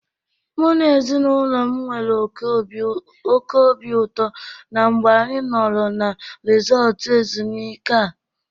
Mụ na ezinaụlọ m nwere oke obi ụtọ na mgbe anyị nọrọ na resọọtụ ezumụike a.